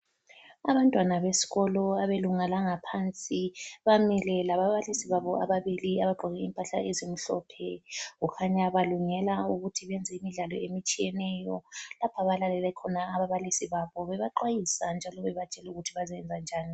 Abantwana besikolo abelunga langaphansi bamile lababalisi babo ababili abagqoke impahla ezimhlophe. Kukhanya balungela ukuthi benze imidlalo etshiyeneyo lapho abalalele khona ababalisi babo bebaxwayisa njalo bebatshela ukuthi bazayenza njani.